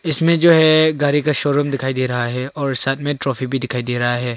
इस में जो है गाड़ी का शोरूम दिखाई दे रहा है और साथ में ट्रॉफी भी दिखाई दे रहा है।